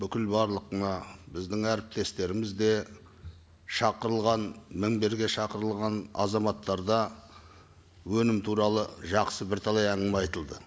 бүкіл барлық мына біздің әріптестеріміз де шақырылған мінберге шақырылған азаматтар да өнім туралы жақсы бірталай әңгіме айтылды